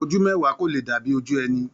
Ojú mẹwa ko lè dàbí ojú ẹni.